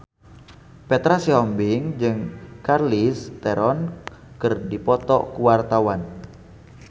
Petra Sihombing jeung Charlize Theron keur dipoto ku wartawan